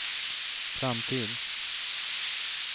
framtid